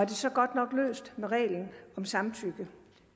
det så godt nok løst med reglen om samtykke